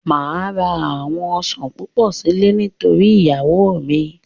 Máa ra àwọn Ọ̀sán púpọ̀ sílè torí iyawo míì.